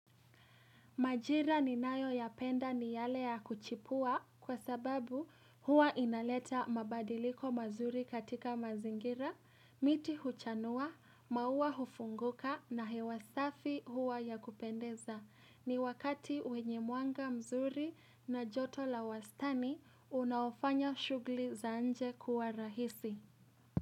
Majira ninayo ya penda ni yale ya kuchipua kwa sababu huwa inaleta mabadiliko mazuri katika mazingira, miti huchanua, maua hufunguka na hewa safi huwa ya kupendeza. Ni wakati wenye mwanga mzuri na joto la wastani unaofanya shughuli za nje kuwa rahisi.